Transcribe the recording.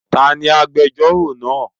Ta ni agbejórò náà?